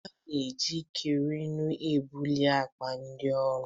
A na-eji kreenu ebuli akpa dị arọ